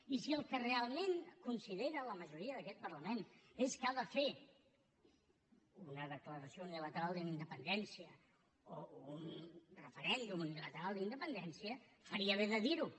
i si el que realment considera la majoria d’aquest parlament és que ha de fer una declaració unilateral d’independència o un referèndum unilateral d’independència faria bé de dir ho